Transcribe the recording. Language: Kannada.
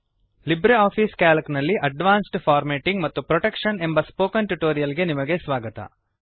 ಲಿಬ್ರೆ ಆಫಿಸ್ ಕ್ಯಾಲ್ಕ್ ನಲ್ಲಿ ಅಡ್ವಾನ್ಸ್ಡ್ ಫಾರ್ಮೇಟಿಂಗ್ ಮತ್ತು ಪ್ರೊಟೆಕ್ಷನ್ ಬಗೆಗಿನ ಸ್ಪೋಕನ್ ಟ್ಯುಟೋರಿಯಲ್ ಗೆ ನಿಮಗೆ ಸ್ವಾಗತ